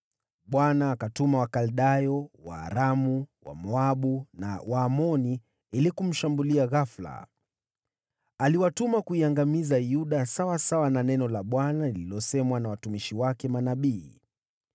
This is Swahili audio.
Bwana akatuma wavamiaji wa Wakaldayo, Waaramu, Wamoabu na Waamoni ili kumshambulia. Aliwatuma kuiangamiza Yuda sawasawa na neno la Bwana lililosemwa na watumishi wake manabii.